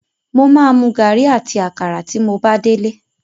Mo máa mu gàrí àti àkàrà. tí mo bá délé.